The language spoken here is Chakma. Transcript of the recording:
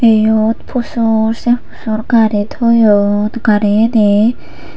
eyod pusho se sorkari toyon gari yeni.